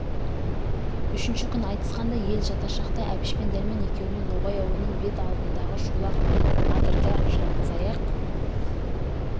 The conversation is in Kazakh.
үшінші күн айтысқандай ел жатар шақта әбіш пен дәрмен екеуіне ноғай ауылының бет алдындағы шолақ адырда жалғыз аяқ